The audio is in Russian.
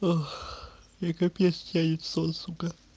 ах и капец тянет в сон сука